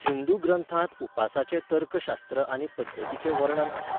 हिंदू ग्रंथांत उपासाचे तर्क शास्त्र आनी पद्दतीचें वर्णन आसा.